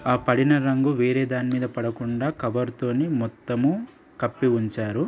ఆ పడిన రంగు వేరే దాని మీద పడకుండ కవర్ తోని మొత్తము కప్పి ఉంచారు.